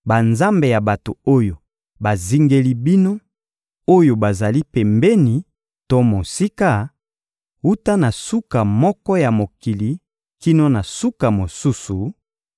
banzambe ya bato oyo bazingeli bino, oyo bazali pembeni to mosika, wuta na suka moko ya mokili kino na suka mosusu),